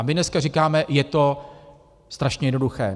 A my dneska říkáme, je to strašně jednoduché.